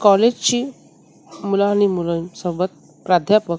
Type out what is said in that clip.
कॉलेजची मुलं आणि मुलांसोबत प्राध्यापक --